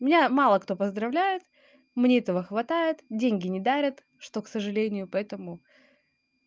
меня мало кто поздравляет мне этого хватает деньги не дарят что к сожалению поэтому